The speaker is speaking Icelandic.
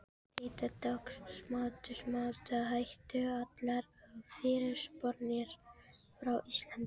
Þetta tókst, smátt og smátt hættu allar fyrirspurnir frá Íslandi.